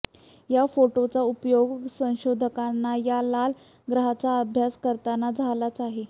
या फोटोंचा उपयोगही संशोधकांना या लाल ग्रहाचा अभ्यास करताना झालाच आहे